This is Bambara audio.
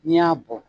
N'i y'a bɔ